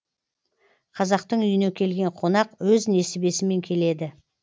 қазақтың үйіне келген қонақ өз несібесімен келеді